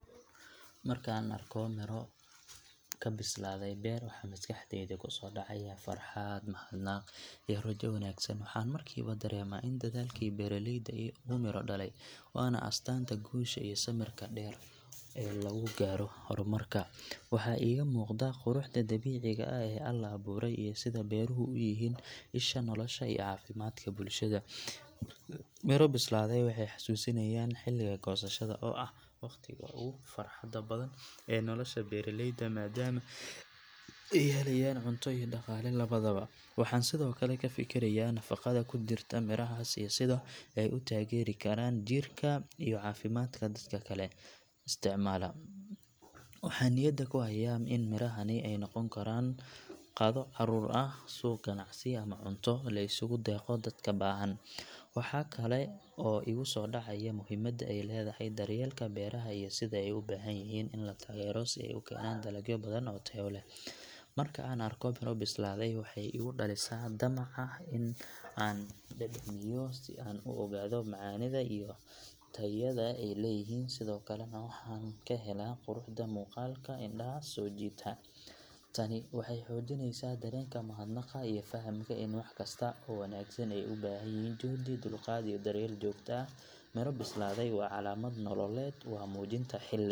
Marka aan arko midho ka bislaaday beer waxa maskaxdayda kusoo dhacaya farxad, mahadnaq iyo rajo wanaagsan. Waxaan markiiba dareemaa in dadaalkii beeraleyda uu miro dhalay, waana astaanta guusha iyo samirka dheer ee lagu gaaro horumarka. Waxaa iiga muuqda quruxda dabiiciga ah ee Alle abuuray iyo sida beeruhu u yihiin isha nolosha iyo caafimaadka bulshada. Midho bislaaday waxay xasuusinayaan xilliga goosashada, oo ah waqtiga ugu farxadda badan ee nolosha beeraleyda maadaama ay helayaan cunto iyo dhaqaale labadaba. Waxaan sidoo kale ka fikirayaa nafaqada ku jirta midhahaas iyo sida ay u taageeri karaan jirka iyo caafimaadka dadka isticmaala. Waxaan niyadda ku hayaa in midhahani ay noqon karaan qado carruur ah, suuq ganacsi, ama cunto la isugu deeqo dadka baahan. Waxaa kale oo igu soo dhacaya muhiimadda ay leedahay daryeelka beeraha iyo sida ay u baahan yihiin in la taageero si ay u keenaan dalagyo badan oo tayo leh. Marka aan arko miro bislaaday waxay igu dhalisaa damac ah in aan dhadhamiyo si aan u ogaado macaanida iyo tayada ay leeyihiin sidoo kalena waxaan ka helaa quruxda muuqaalka oo indhaha soo jiita. Tani waxay xoojinaysaa dareenka mahadnaqa iyo fahamka ah in wax kasta oo wanaagsan ay u baahan yihiin juhdi, dulqaad iyo daryeel joogto ah. Midho bislaaday waa calaamad nololeed, waa muujinta xilliga .